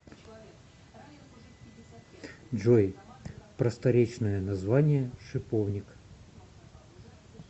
джой просторечное название шиповник